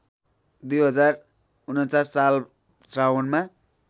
२०४९ साल श्रावणमा